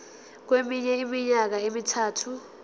kweminye iminyaka emithathu